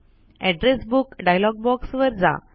address book dialog box वर जा